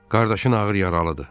Qardaşın ağır yaralıdır.